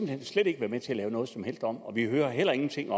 hen slet ikke være med til at lave noget som helst om og vi hører heller ingen ting